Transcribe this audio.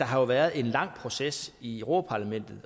har været en lang proces i europa parlamentet